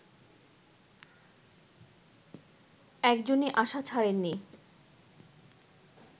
একজনই আশা ছাড়েন নি